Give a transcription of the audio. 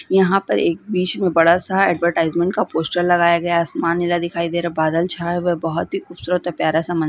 यहाँ पर बीच में एक बड़ा- सा एडवर्टाइजमेंट का पोस्टर लगाया गया है आसमान नीला दिखाई दे रहा है बादल छाए हुए है बहुत ही खूबसूरत है प्यारा सा --